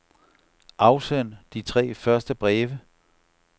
Afsend de tre første breve.